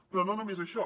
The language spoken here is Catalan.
però no només això